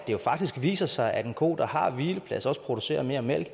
jo faktisk viser sig at en ko der har hvileplads også producerer mere mælk